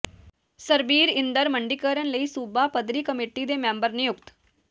ਸਰਬੀਰਇੰਦਰ ਮੰਡੀਕਰਨ ਲਈ ਸੂਬਾ ਪੱਧਰੀ ਕਮੇਟੀ ਦੇ ਮੈਂਬਰ ਨਿਯੁਕਤ